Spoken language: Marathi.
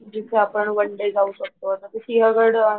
जिथे आपणं वन डे जाऊ शकतो